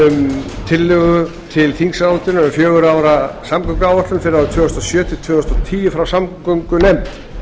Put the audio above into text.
um tillögu til þingsályktunar um fjögurra ára samgönguáætlun fyrir árin tvö þúsund og sjö til tvö þúsund og tíu frá samgöngunefnd